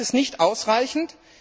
Das ist nicht ausreichend!